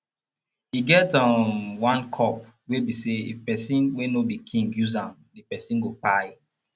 e get um one cup wey be say if person wey no be king use am the person go kpai